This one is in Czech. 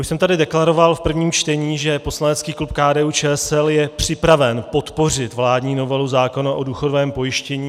Už jsem tady deklaroval v prvním čtení, že poslanecký klub KDU-ČSL je připraven podpořit vládní novelu zákona o důchodovém pojištění.